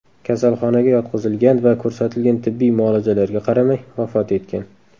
kasalxonaga yotqizilgan va ko‘rsatilgan tibbiy muolajalarga qaramay, vafot etgan.